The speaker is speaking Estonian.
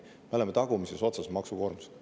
Me oleme maksukoormuselt tagumises otsas.